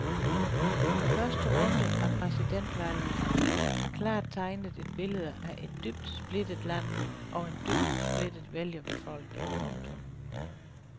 Første runde af præsidentvalget har klart tegnet et billede af et dybt splittet land og en dybt splittet vælgerbefolkning. punktum